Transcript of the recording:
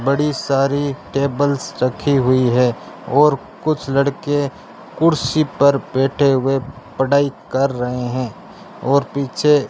बड़ी सारी टेबल्स रखी हुई है और कुछ लड़के कुर्सी पर बैठे हुए पढ़ाई कर रहे हैं और पीछे --